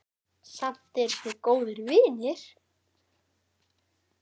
Samt eru þau góðir vinir.